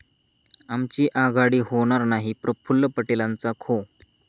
आमची आघाडी होणार नाही, प्रफुल्ल पटेलांचा खो!